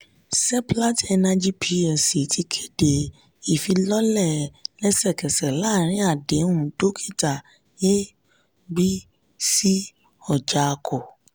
seplat energy plc ti kéde ìfilọ́lẹ̀ lẹsẹ̀kẹsẹ̀ láàrin àdéhùn dókítà a.b.c orjiako.